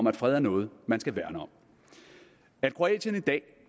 at fred er noget man skal værne om at kroatien i dag